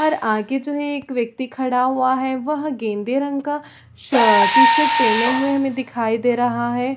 और आगे जो है एक व्यक्ति खड़ा हुआ है वह गेंदे रंग का सा टी-शर्ट पहने हुआ दिखाई दे रहा है।